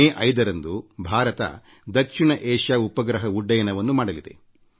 ಮೇ 5ರಂದು ಭಾರತ ದಕ್ಷಿಣ ಏಷಿಯಾ ಉಪಗ್ರಹ ಉಡಾವಣೆ ಮಾಡುತ್ತಿದೆ